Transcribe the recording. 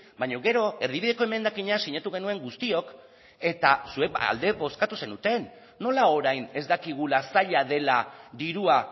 baina gero erdibideko emendakina sinatu genuen guztiok eta zuek alde bozkatu zenuten nola orain ez dakigula zaila dela dirua